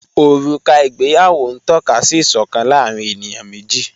Ọruka igbèyàwó n tọ̀kà sí ìṣọkan láàrín ènìyàn meji